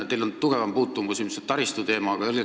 Teil on tugevam puutumus ilmselt taristuteemaga.